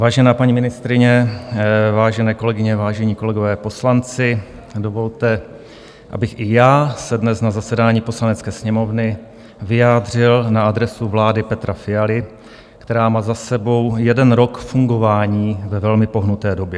Vážená paní ministryně, vážené kolegyně, vážení kolegové poslanci, dovolte, abych i já se dnes na zasedání Poslanecké sněmovny vyjádřil na adresu vlády Petra Fialy, která má za sebou jeden rok fungování ve velmi pohnuté době.